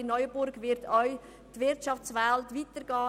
In Neuenburg wird auch die Wirtschaftswelt weiterleben.